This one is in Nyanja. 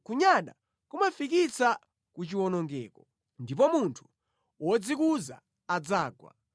Kunyada kumafikitsa ku chiwonongeko, ndipo munthu wodzikuza adzagwa.